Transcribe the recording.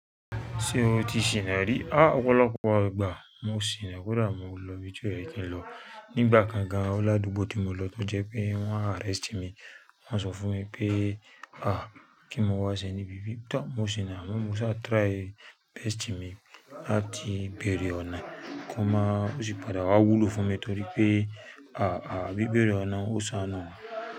Ṣé o ti ṣìnà rí? Á ọ̀pọ̀lọpọ̀ igba mo ṣìnà kódà mo lọ ibi ti o yẹ̀ kí n lọ. Nígbà kan gan-an Oládùúbò tí mo lọ tó jẹ́ pé wọ́n arrest mi, wọ́n sọ fún mi pé ah kí n mo wá sẹ́ ní bíbí. Tọ́ mo ṣìnà, mo ṣà try best mi láti béèrè ọ̀nà kan máa ó sì padà wá wúlò fún mi torí pé ah ah bí béèrè ọ̀nà ó saná.